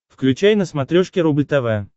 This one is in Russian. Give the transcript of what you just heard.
включай на смотрешке рубль тв